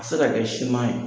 A bɛ se ka kɛ siman ye